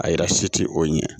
A yira si ti o ɲɛ